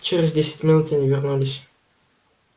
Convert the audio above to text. через десять минут они вернулись